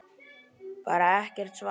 Bara er ekkert svar.